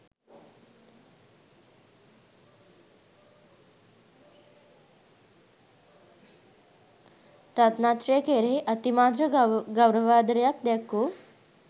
රත්නත්‍රය කෙරෙහි අතිමාත්‍ර ගෞරවාදරයක් දැක් වූ